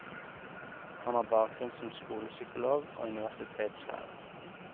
Han har bakgrunn som skolepsykolog og universitetslærer.